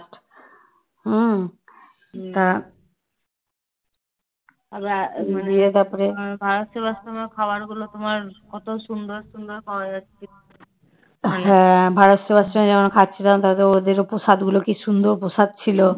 হ্যাঁ ভারত সেবাশ্রমে যখন খাচ্ছিলাম তাদের ওদের প্রসাদ গুলো কি সুন্দর প্রসাদ ছিল